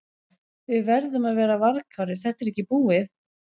Við verðum að vera varkárir, þetta er ekki búið.